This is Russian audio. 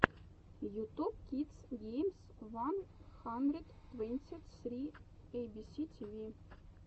ютуб кидс геймс ван хандрэд твэнти сри эйбиси тиви